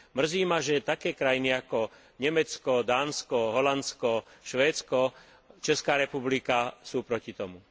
Mrzí ma, že také krajiny ako Nemecko, Dánsko, Holandsko, Švédsko, Česká republika sú proti tomu.